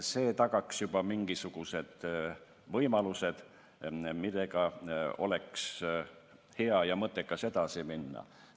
See tagaks juba mingisugused võimalused, millega oleks hea ja mõttekas edasi minna.